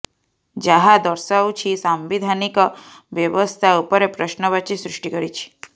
ଯାହ ଦର୍ଶାଉଛି ସାମ୍ବିଧାନିକ ବ୍ୟବସ୍ଥା ଉପରେ ପ୍ରଶ୍ନ ବାଚୀ ସୃଷ୍ଟି କରିଛି